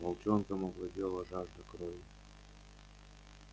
волчонком овладела жажда крови